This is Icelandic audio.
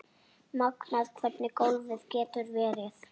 Magnað hvernig golfið getur verið.